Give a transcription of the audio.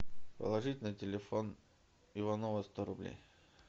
положить на телефон иванова сто рублей